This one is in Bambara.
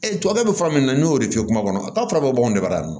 tubabukɛ bɛ fura min na n'o de f'i ye kuma kɔnɔ t'a fɔra ko anw de b'a dun